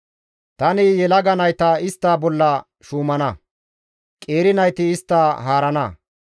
Tani yelaga nayta istta bolla shuumana; qeeri nayti istta haarana.